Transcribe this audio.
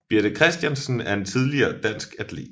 Birthe Kristiansen er en tidligere dansk atlet